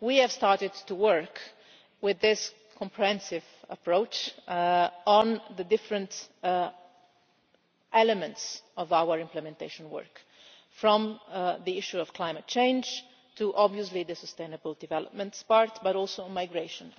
We have started to work with this comprehensive approach on the different elements of our implementation work from the issue of climate change to the sustainable development part, but also migration.